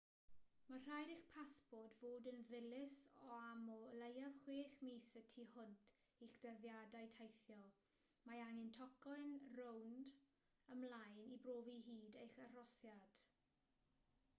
mae'n rhaid i'ch pasport fod yn ddilys am o leiaf 6 mis y tu hwnt i'ch dyddiadau teithio. mae angen tocyn rownd/ymlaen i brofi hyd eich arhosiad